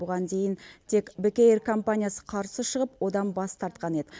бұған тек бек эйр компаниясы қарсы шығып одан бас тартқан еді